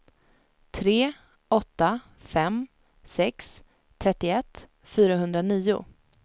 tre åtta fem sex trettioett fyrahundranio